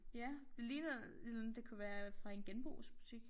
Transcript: Ja det ligner et eller andet det kunne være fra en genbrugsbutik